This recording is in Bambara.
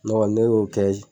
Ne kɔni ne b'o kɛ